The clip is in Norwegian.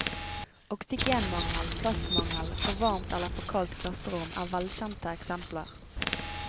Oksygenmangel, plassmangel, for varmt eller for kaldt klasserom er velkjente eksempler.